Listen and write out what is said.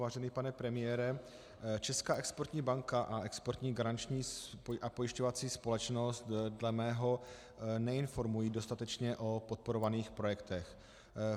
Vážený pane premiére, Česká exportní banka a Exportní garanční a pojišťovací společnost dle mého neinformují dostatečně o podporovaných projektech.